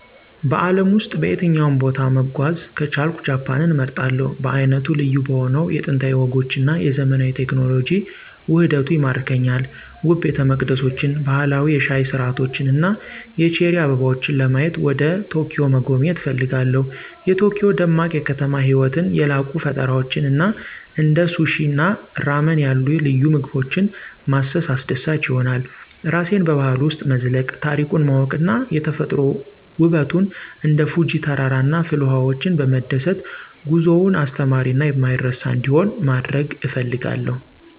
በአለም ውስጥ በየትኛውም ቦታ መጓዝ ከቻልኩ ጃፓንን እመርጣለሁ. በዓይነቱ ልዩ በሆነው የጥንታዊ ወጎች እና የዘመናዊ ቴክኖሎጂ ውህደቱ ይማርከኛል። ውብ ቤተመቅደሶችን፣ ባህላዊ የሻይ ሥርዓቶችን እና የቼሪ አበቦችን ለማየት ወደ ኪዮቶን መጎብኘት እፈልጋለሁ። የቶኪዮ ደማቅ የከተማ ህይወትን፣ የላቁ ፈጠራዎችን እና እንደ ሱሺ እና ራመን ያሉ ልዩ ምግቦችን ማሰስ አስደሳች ይሆናል። ራሴን በባህሉ ውስጥ መዝለቅ፣ ታሪኩን ማወቅ እና የተፈጥሮ ውበቱን እንደ ፉጂ ተራራ እና ፍልውሃዎች በመደሰት ጉዞውን አስተማሪ እና የማይረሳ እንዲሆን ማድረግ እፈልጋለሁ።